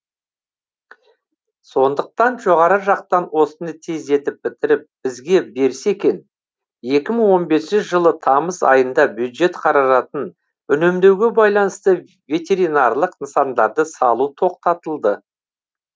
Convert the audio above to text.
сондықтан жоғары жақтан осыны тездетіп бітіріп бізге берсе екен екі мың он бесінші жылы тамыз айында бюджет қаражатын үнемдеуге байланысты ветеринарлық нысандарды салу тоқтатылды